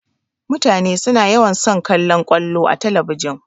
Mutane suna yawan son kallan ƙwallo a talabijin.